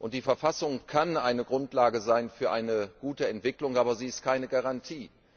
Die Verfassung kann eine Grundlage sein für eine gute Entwicklung, aber sie ist keine Garantie.